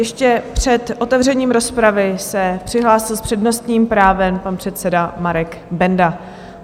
Ještě před otevřením rozpravy se přihlásil s přednostním právem pan předseda Marek Benda.